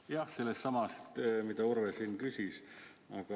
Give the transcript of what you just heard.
Jah, küsimus on sellesama kohta, mida Urve küsis.